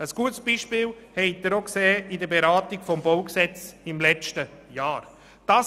Ein gutes Beispiel dafür haben Sie bei der Beratung des Baugesetzes (BauG) im letzten Jahr gesehen.